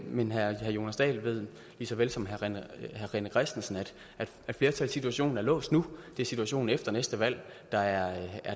men herre jonas dahl ved lige så vel som herre rené christensen at flertalssituationen er låst nu det er situationen efter næste valg der er